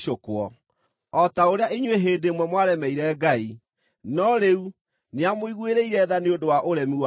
O ta ũrĩa inyuĩ hĩndĩ ĩmwe mwaremeire Ngai, no rĩu nĩamũiguĩrĩire tha nĩ ũndũ wa ũremi wao-rĩ,